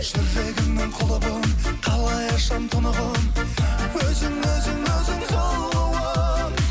жүрегіңнің құлы болып қалай ашам тұнығын өзің өзің өзің сұлуым